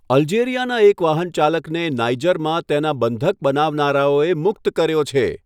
અલ્જેરિયાના એક વાહનચાલકને નાઇજરમાં તેના બંધક બનાવનારાઓએ મુક્ત કર્યો છે.